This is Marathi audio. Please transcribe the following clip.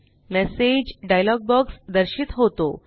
मेसेज डायलॉग बॉक्स दर्शित होतो